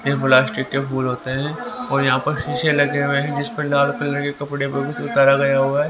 ये प्लास्टिक के फूल होते हैं और यहां पर शीशे लगे हुए हैं जिस पर लाल कलर के कपड़े पर कुछ उतारा गया हुआ है।